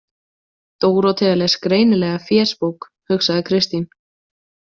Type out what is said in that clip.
Dórótea les greinilega fésbók, hugsaði Kristín.